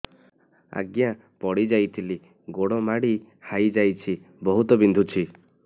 ଆଜ୍ଞା ପଡିଯାଇଥିଲି ଗୋଡ଼ ମୋଡ଼ି ହାଇଯାଇଛି ବହୁତ ବିନ୍ଧୁଛି